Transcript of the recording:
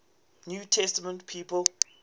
new testament people